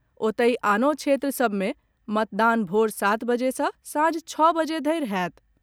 ओतहि, आनो क्षेत्र सभ मे मतदान भोर सात बजे सॅ सांझ छओ बजे धरि होयत।